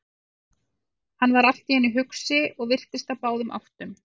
Hann varð allt í einu hugsi og virtist á báðum áttum.